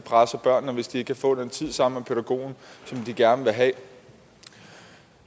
presser børnene hvis de ikke kan få den tid sammen med pædagogen som de gerne vil have